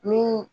Ni